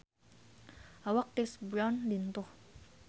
Awak Chris Brown lintuh